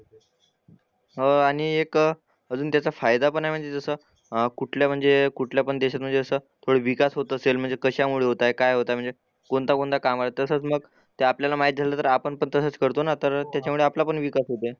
हो आणि एक अजून त्याचा फायदा पण आहे म्हणजे जसा अह कुठल्या म्हणजे कुठल्या पण देशात म्हणजे असं थोडं विकास होत असेल म्हणजे कशामुळे होतंय, काय होतंय म्हणजे कोणत्या कोणत्या कामाला, तसंच मग ते आपल्याला माहिती असेल तर आपण पण तसंच करतो ना तर त्याच्यामुळे आपला पण विकास होतंय.